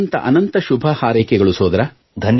ಅನಂತ ಅನಂತ ಶುಭಹಾರೈಕೆಗಳು ಸೋದರ